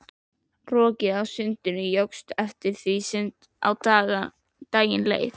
Rokið á sundinu jókst eftir því sem á daginn leið.